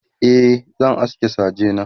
e zan aske saje na